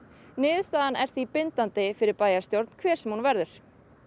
niðurstaðan er því bindandi fyrir bæjarstjórn hver sem hún verður